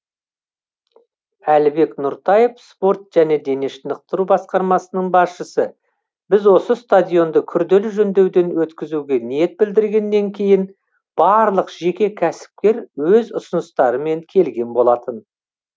әлібек нұртаев спорт және дене шынықтыру басқармасының басшысы біз осы стадионды күрделі жөндеуден өткізуге ниет білдіргеннен кейін барлық жеке кәсіпкер өз ұсыныстарымен келген болатын